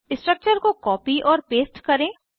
structure को copy और paste करें